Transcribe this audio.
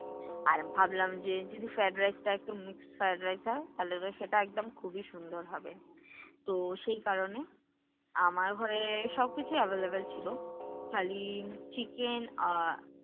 আর ভাবলাম যে যদি fried rice তা একটু mixed fried rice হয় তাহলে তো সেটা একদম খুবই সুন্দর হবে। তো সেই কারণে, আমার ঘরে সবকিছুই available ছিল। খালি chicken আর